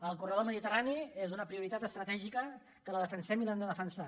el corredor mediterrani és una prioritat estratègica que la defensem i l’hem de defensar